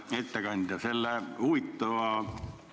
Hea ettekandja!